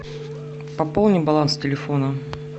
пополни баланс телефона